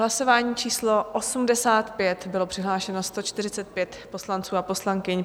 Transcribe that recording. Hlasování číslo 85, bylo přihlášeno 145 poslanců a poslankyň.